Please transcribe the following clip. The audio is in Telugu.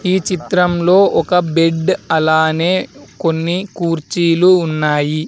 ఈ చిత్రంలో ఒక బెడ్ అలానే కొన్ని కుర్చీలు ఉన్నాయి.